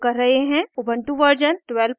ubuntu version 1204